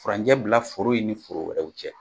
Furancɛ bila foro in ni foro wɛrɛw cɛ